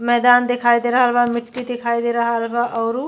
मैदान दिखाई दे रहलबा मिट्टी दिखाई दे रहल बा आउरु --